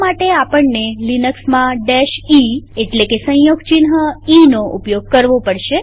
તે માટે આપણને લિનક્સમાં eસંયોગ ચિહ્ન ઈનો ઉપયોગ કરવો પડશે